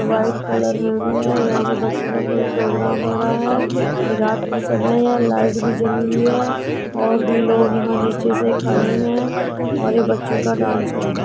White colour मे भी है। यहाँ बच्चों का कोई प्रोग्राम हो रहा है। रात का समय है। लाइट भी जली हुई है और भी लोग यहाँ नीचे से खड़े हैं और ये बच्चों का डांस है।